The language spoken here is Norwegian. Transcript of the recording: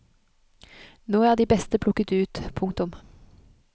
Nå er de beste plukket ut. punktum